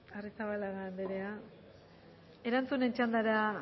arrizabalaga anderea erantzunen txandara